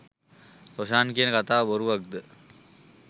රොෂාන් කියන කතාව බොරුවක්ද?